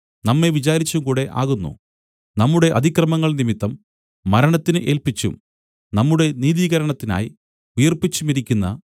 നമ്മെ വിചാരിച്ചുംകൂടെ ആകുന്നു നമ്മുടെ അതിക്രമങ്ങൾ നിമിത്തം മരണത്തിന് ഏല്പിച്ചും നമ്മുടെ നീതീകരണത്തിനായി ഉയിർപ്പിച്ചുമിരിക്കുന്ന